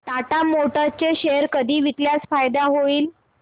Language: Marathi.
टाटा मोटर्स चे शेअर कधी विकल्यास फायदा होईल